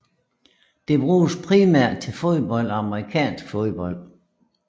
Det bruges primært til fodbold og amerikansk fodbold